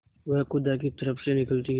वह खुदा की तरफ से निकलती है